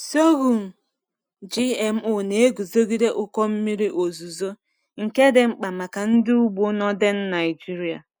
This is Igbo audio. Sorghum GMO na-eguzogide ụkọ mmiri ozuzo, nke dị mkpa maka ndị ugbo Northern Nigeria.